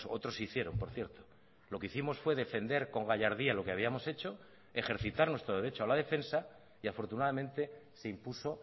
otros hicieron por cierto lo que hicimos fue defender con gallardía lo que habíamos hecho ejercitar nuestro derecho a la defensa y afortunadamente se impuso